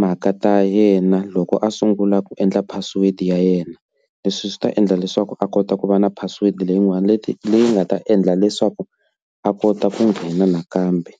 mhaka ta yena loko a sungula ku endla password ya yena. Leswi swi ta endla leswaku a kota ku va na password leyin'wani leti leyi nga ta endla leswaku a kota ku nghena nakambe.